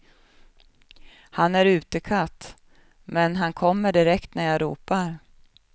Han är utekatt, men kan kommer direkt när jag ropar.